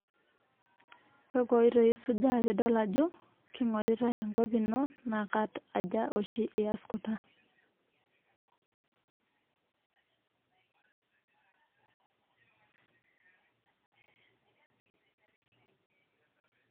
Kakwa oitoo isujaa piidol Ajo kingoritae enkop ino naa kat aja oshi iase Kuna .